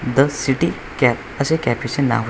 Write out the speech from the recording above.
the city cap असे cafe चे नाव --